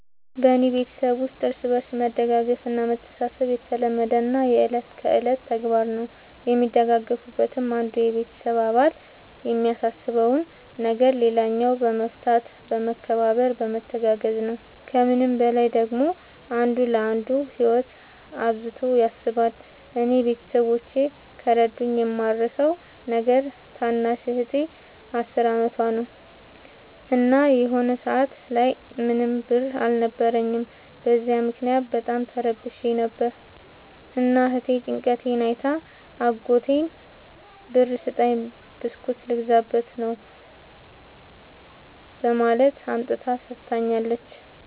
በኔ ቤተሠብ ውስጥ እርስ በርስ መደጋገፍ እና መተሣሠብ የተለመደና የእለት ከእለት ተግባር ነው። የሚደጋገፉትም አንዱ የቤተሰብ አባል የሚያሳስበውን ነገር ሌላኛው በመፍታት በመከባበር በመተጋገዝ ነው። ከምንም በላይ ደግሞ አንዱ ለአንዱ ህይወት አብዝቶ ያስባል። እኔ ቤተሠቦቼ ከረዱኝ የማረሣው ነገር ታናሽ እህቴ አስር አመቷ ነው። እና የሆነ ሰአት ላይ ምንም ብር አልነበረኝም። በዚያ ምክንያት በጣም ተረብሼ ነበር። እና እህቴ ጭንቀቴን አይታ አጎቷን ብር ስጠኝ ብስኩት ልገዛበት ነው በማለት አምጥታ ሠጥታኛለች።